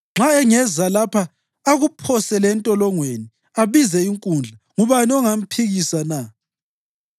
Nxa engeza lapha akuphosele entolongweni abize inkundla, ngubani ongamphikisa na?